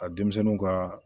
Ka denmisɛnninw ka